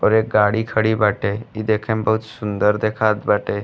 और एक गाड़ी खड़ी बाटे। इ देखे में बहुत सुंदर दिखात बाटे।